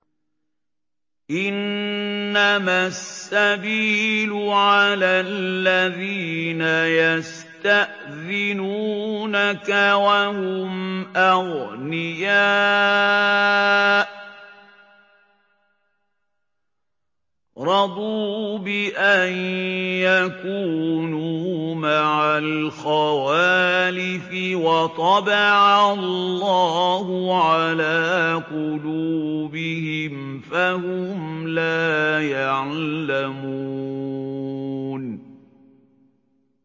۞ إِنَّمَا السَّبِيلُ عَلَى الَّذِينَ يَسْتَأْذِنُونَكَ وَهُمْ أَغْنِيَاءُ ۚ رَضُوا بِأَن يَكُونُوا مَعَ الْخَوَالِفِ وَطَبَعَ اللَّهُ عَلَىٰ قُلُوبِهِمْ فَهُمْ لَا يَعْلَمُونَ